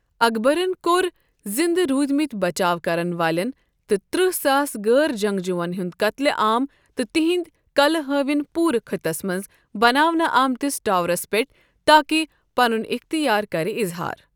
اکبرن کوٚر زندٕ رودۍمٕتۍ بَچاو کرن والٮ۪ن تہٕ ترٛہ ساس غٲر جنگجووَن ہنٛد قتلہ عام تہٕ تہنٛدۍ کلہٕ ہاوٕنۍ پورٕ خٕطس منٛز بناونہٕ آمتس ٹاورس پٮ۪ٹھ، تاکہ پنُن اختیار کر اِظہار۔